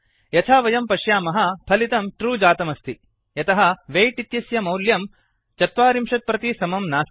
यथा वयं पश्यामः फलितं ट्रू जातमस्ति यतः वेय्ट् इत्यस्य मौल्यं ४० प्रति समं नास्ति